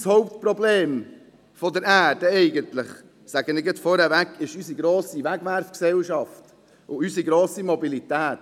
Das Hauptproblem der Erde, das sage ich gleich vorweg, ist unsere grosse Wegwerfgesellschaft und unsere grosse Mobilität.